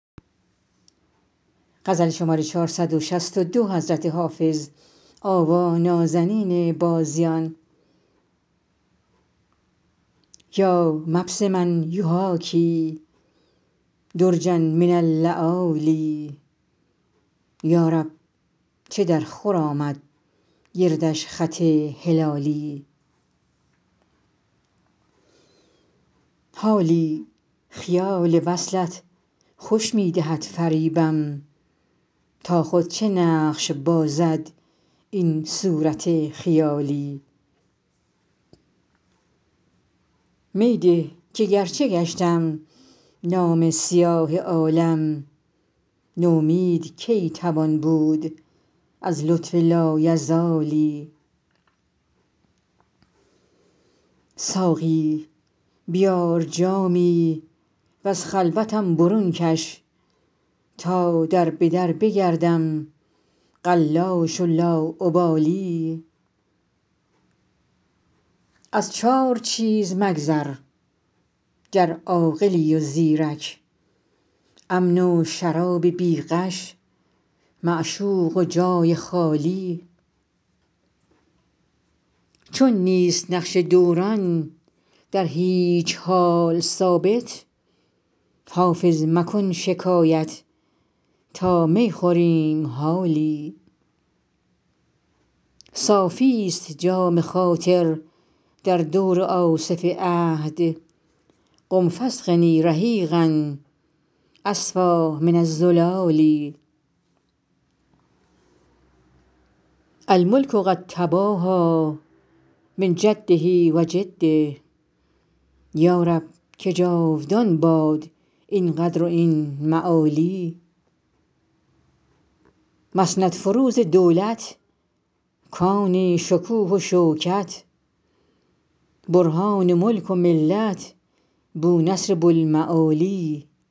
یا مبسما یحاکی درجا من اللآلی یا رب چه درخور آمد گردش خط هلالی حالی خیال وصلت خوش می دهد فریبم تا خود چه نقش بازد این صورت خیالی می ده که گرچه گشتم نامه سیاه عالم نومید کی توان بود از لطف لایزالی ساقی بیار جامی و از خلوتم برون کش تا در به در بگردم قلاش و لاابالی از چار چیز مگذر گر عاقلی و زیرک امن و شراب بی غش معشوق و جای خالی چون نیست نقش دوران در هیچ حال ثابت حافظ مکن شکایت تا می خوریم حالی صافیست جام خاطر در دور آصف عهد قم فاسقني رحیقا أصفیٰ من الزلال الملک قد تباهیٰ من جده و جده یا رب که جاودان باد این قدر و این معالی مسندفروز دولت کان شکوه و شوکت برهان ملک و ملت بونصر بوالمعالی